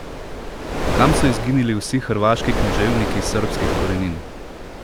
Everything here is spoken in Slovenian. Kam so izginili vsi hrvaški književniki srbskih korenin?